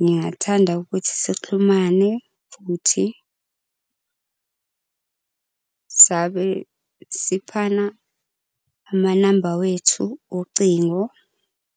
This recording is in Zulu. ngingathanda ukuthi sixhumane futhi. Sabe siphana amanamba wethu ocingo.